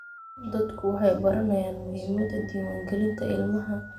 Dadku waxay baranayaan muhiimada diiwaangelinta ilmaha.